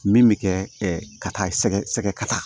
Min bɛ kɛ ka taa sɛgɛ sɛgɛ ka taa